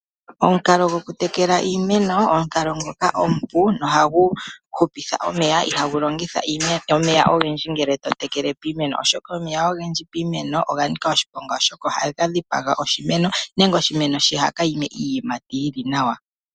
Omukala gokutekela iimeno, omukalo ngoka omupu nohagu hupitha omeya, ihagu longitha omeya ogendji piimeno ngele to tekele, oshoka omeya ogendji piimeno oga nika oshiponga, oshoka ohaga dhipaga oshimeno nenge oshimeno shiha ka ime iiyimati yi li nawa.